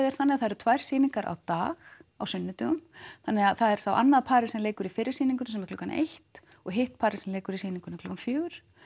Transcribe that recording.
er þannig að það eru tvær sýningar á dag á sunnudögum þannig að það er þá annað parið sem leikur í fyrri sýningu klukkan eitt og hitt parið sem leikur í sýningunni klukkan fjögur